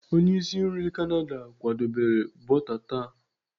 onye isi nri Canada kwadebere bọta tart